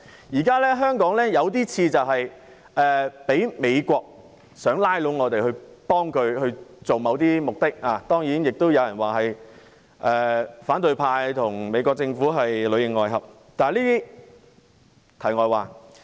現時香港的情況似乎是美國想拉攏我們助其達到某些目的，當然亦有人指反對派與美國政府裏應外合，但這些是題外話。